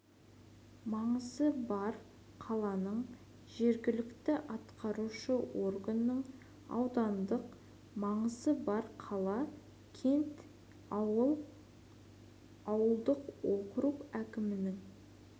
маңызы бар қаланың жергілікті атқарушы органының аудандық маңызы бар қала кент ауыл ауылдық округ әкімінің